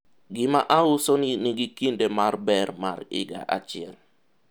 gima ausoni nigi kinde mar ber mar higa achiel